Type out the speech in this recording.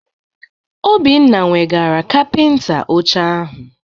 Obinna weghara kapịnta oche ahụ.